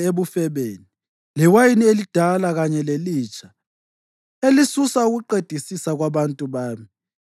ebufebeni, lewayini elidala kanye lelitsha elisusa ukuqedisisa kwabantu bami.